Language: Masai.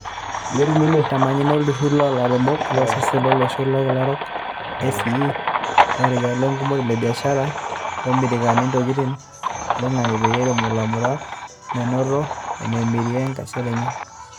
Itamanyunyia olturur loolairemok loolosaen loloshon lokila orok (ACEA) orekia lenkemore e biashara lomiriaki ntokitin toloingang'e peeretu lairemok lemurua menoto enemiria enkesare enye.